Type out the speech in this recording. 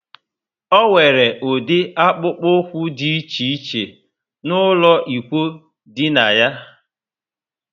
O nwere udi akpukpu úkwú dị iche iche n'ulo ikwụ dina yá